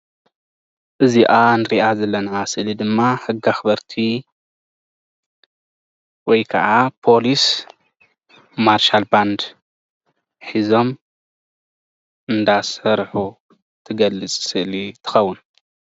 እዚኣ እንሪኣ ዘለና ስእሊ ድማ ሕጊ ኣክበርቲ ወይ ከዓ ፖሊስ ማርሻል ባንድ ሒዞም እንዳሰርሑ እትገልፅ ስእሊ ትከውን፡፡